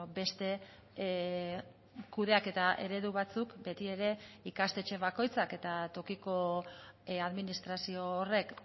beste kudeaketa eredu batzuk beti ere ikastetxe bakoitzak eta tokiko administrazio horrek